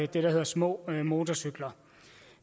det der hedder små motorcykler